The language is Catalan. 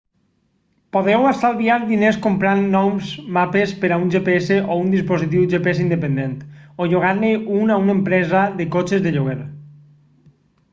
podeu estalviar diners comprant nous mapes per a un gps o un dispositiu gps independent o llogar-ne un a una empresa de cotxes de lloguer